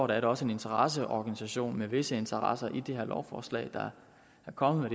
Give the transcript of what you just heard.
det også en interesseorganisation med visse interesser i det her lovforslag der er kommet